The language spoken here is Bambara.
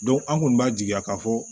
an kɔni b'a jigiya k'a fɔ